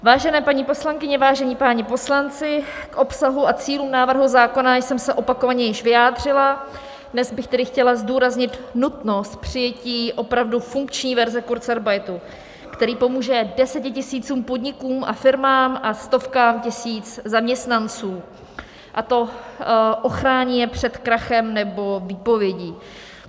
Vážené paní poslankyně, vážení páni poslanci, k obsahu a cílům návrhu zákona jsem se opakovaně již vyjádřila, dnes bych tedy chtěla zdůraznit nutnost přijetí opravdu funkční verze kurzarbeitu, který pomůže desetitisícům podnikům a firmám a stovkám tisíc zaměstnanců, a to ochrání je před krachem nebo výpovědí.